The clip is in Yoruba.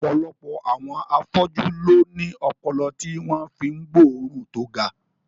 Ọ̀pọ̀lọpọ̀ àwọn afọ́jú ló ní ọpọlọ tí wọ́n fi ń gbóòórùn tó ga